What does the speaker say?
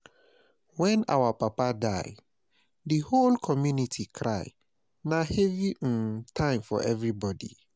Wen our Papa die, di whole community cry, na heavy um time for everybodi.